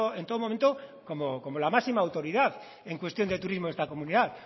en todo momento como la máxima autoridad en cuestión de turismo de esta comunidad